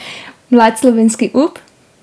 Mlad slovenski up?